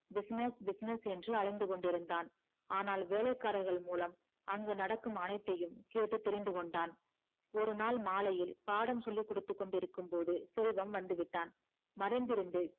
business business என்று அலைந்து கொண்டிருந்தான் ஆனால் வேளைகாரர்கள் மூலம் அங்கு நடக்கும் அனைத்தையும் கேட்டு தெரிந்து கொண்டான் ஒரு நாள் மாலையில் பாடம் சொல்லி கொடுத்து இருக்கும்போது செல்வம் வந்துவிட்டான் மறைந்து இருந்து